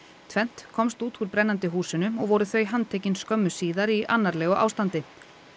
tvennt komst út úr brennandi húsinu og voru þau handtekin skömmu síðar í annarlegu ástandi